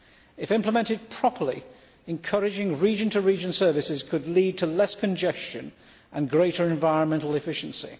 If implemented properly, encouraging region to region services could lead to less congestion and greater environmental efficiency.